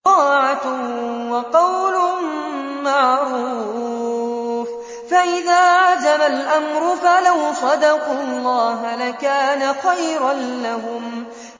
طَاعَةٌ وَقَوْلٌ مَّعْرُوفٌ ۚ فَإِذَا عَزَمَ الْأَمْرُ فَلَوْ صَدَقُوا اللَّهَ لَكَانَ خَيْرًا لَّهُمْ